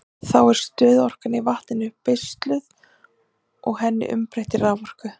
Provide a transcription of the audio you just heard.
Þá er stöðuorkan í vatninu beisluð og henni umbreytt í raforku.